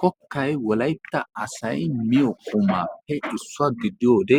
kokkay wolaytta asay miyo qumaappe issuwa gididaage